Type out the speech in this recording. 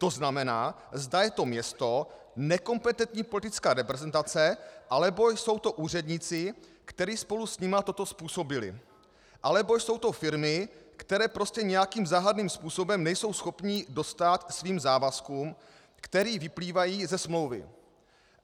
To znamená, zda je to město, nekompetentní politická reprezentace, anebo jsou to úředníci, kteří spolu s nimi toto způsobili, anebo jsou to firmy, které prostě nějakým záhadným způsobem nejsou schopny dostát svým závazkům, které vyplývají ze smlouvy.